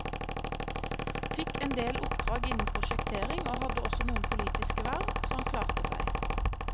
Fikk endel oppdrag innen prosjektering og hadde også noen politiske verv, så han klarte seg.